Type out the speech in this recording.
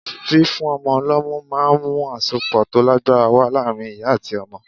Fífún ọmọ lọ́mú ma ń mú àsopọ̀ tó lágbára wá láàárín ìyá àti ọmọ.